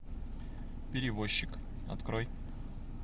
перевозчик открой